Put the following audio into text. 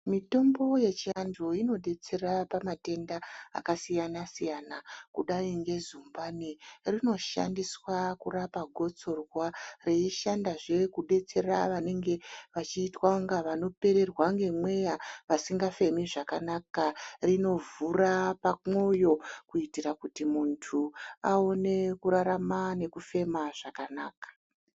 Mitombo yechivanhu inodetsera pamatenda akasiyana siyana kudai ngezumbani rinoshandiswa kurapa gotsorwa. Reishandazve kubatsira vanenge veiita kunga vanopererwa ngemweya, vasingafemi zvakanaka. Rinovhura pamwoyo kuitira kuti muntu aone kurarama nekufema zvakanaka.